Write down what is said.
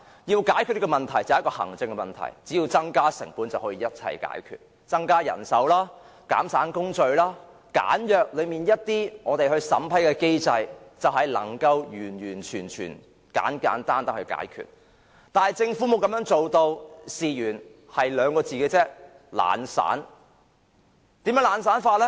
如果想解決這一項行政問題，只要增加成本，一切問題都可以解決，包括增加人手、減省工序和簡約審批機制，就可以完全及簡單地解決問題，但政府卻沒有這樣做，原因只有2字——懶散。